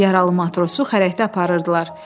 Yaralı matrosu xərəkdə aparırdılar.